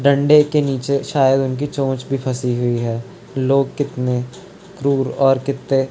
दंडे की नीचे शायद उसकी चोंच भी फंसी हुई है लोग कितने क्रूर और कितने --